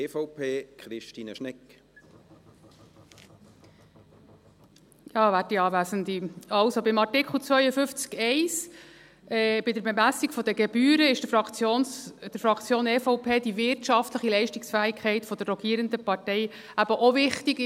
Bei Artikel 52 Absatz 1, bei der Bemessung der Gebühren, ist der Fraktion EVP die wirtschaftliche Leistungsfähigkeit der rogierenden Partei eben auch wichtig.